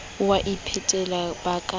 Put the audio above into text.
o a iphetela ka ba